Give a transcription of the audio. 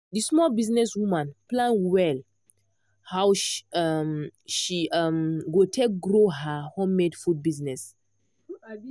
the small business woman plan well how she um she um go take grow her handmade food business. um